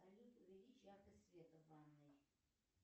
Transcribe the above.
салют увеличь яркость света в ванной